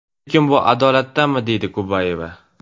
Lekin bu adolatdanmi?”, deydi Kubayeva.